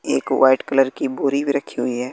एक white colour की बोरी भी रक्खी हुई है।